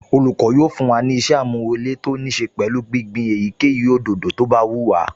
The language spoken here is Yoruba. Olùkọ́ yóò fún wa ní ìṣe-àmúrelé tó níí ṣe pẹ̀lú gbígbin èyíkéyìí òdòdó tó bá wù wá